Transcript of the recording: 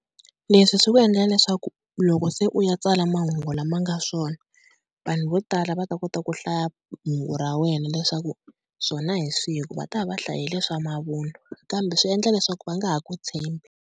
Leswi swi ku endlela leswaku loko se u ya tsala mahungu lama nga swona vanhu vo tala va ta kota ku hlaya hungu ra wena leswaku swona hi swihi hikuva va ta va va hlayile leswa mavunwa kambe swi endla leswaku va nga ha ku tshembi.